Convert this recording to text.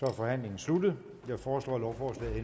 er forhandlingen sluttet jeg foreslår at lovforslaget